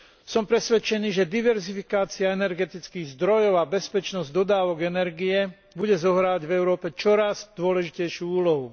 Som presvedčený, že diverzifikácia energetických zdrojov a bezpečnosť dodávok energie bude zohrávať v Európe čoraz dôležitejšiu úlohu.